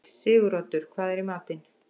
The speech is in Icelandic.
Siguroddur, hvað er í matinn?